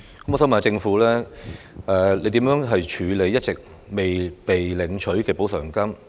我想問，政府會如何處理一直未被領取的補償金？